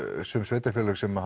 sum sveitarfélög sem